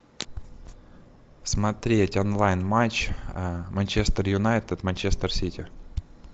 смотреть онлайн матч манчестер юнайтед манчестер сити